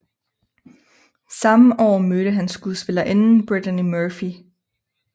Samme år mødte han skuespillerinden Brittany Murphy